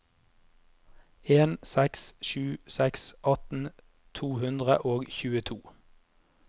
en seks sju seks atten to hundre og tjueto